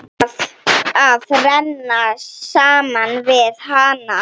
Að renna saman við hana.